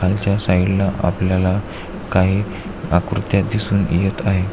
खालच्या साइड ला आपल्याला काही आकृत्या दिसून येत आहे.